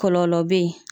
Kɔlɔlɔ bɛ yen